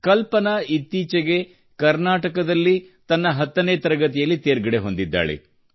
ಕಲ್ಪನಾ ಇತ್ತೀಚೆಗೆ ಕರ್ನಾಟಕದಲ್ಲಿ ತನ್ನ 10 ನೇ ತರಗತಿಯಲ್ಲಿ ತೇರ್ಗಡೆ ಹೊಂದಿದ್ದಾಳೆ